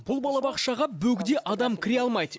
бұл балабақшаға бөгде адам кіре алмайды